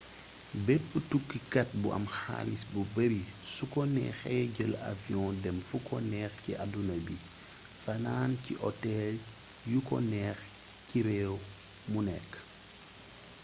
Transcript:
bépp tukkikat bu am xaalis bu bari su ko neexee jël avion dem fu ko neex ci àdduna bi fanaan ci hotel yuk o neex ci réew mu nekk